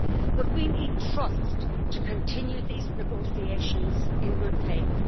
But we need trust to continue these negotiations in good faith.